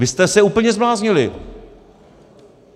Vy jste se úplně zbláznili.